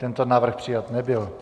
Tento návrh přijat nebyl.